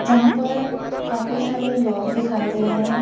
यहां पर काफी सारे लोग दिखाई दे रहे हैं।